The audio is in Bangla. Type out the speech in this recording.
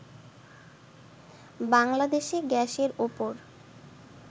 বাংলাদেশে গ্যাসের ওপর